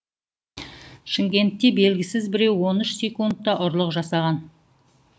шымкентте белгісіз біреу он үш секундта ұрлық жасаған